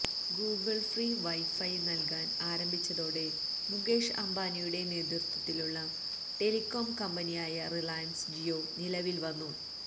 Google free wifi നൽകാൻ ആരംഭിച്ചതോടെ മുകേഷ് അംബാനിയുടെ നേതൃത്വത്തിലുള്ള ടെലികോം കമ്പനിയായ റിലയൻസ് ജിയോ നിലവിൽ വന്നു